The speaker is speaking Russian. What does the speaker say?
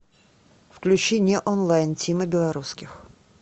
включи не онлайн тима белорусских